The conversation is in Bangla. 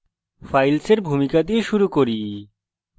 files এর ভূমিকা দিয়ে শুরু করি